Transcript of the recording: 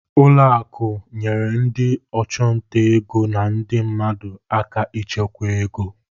Ụlọ akụ nyere ndị ọchụnta ego na ndị mmadụ aka ịchekwa ego.